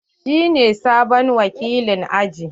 Shi ne sabon wakilin aji.